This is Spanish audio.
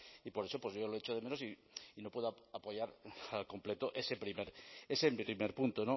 y por eso pues yo lo echo de menos y no puedo apoyar al completo ese primer punto